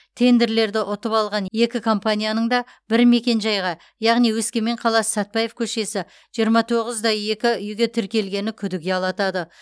тендерлерді ұтып алған екі компанияның да бір мекенжайға яғни өскемен қаласы сәтпаев көшесі жиырма тоғыз да екі үйге тіркелгені күдік ұялатады